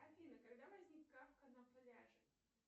афина когда возник кафка на пляже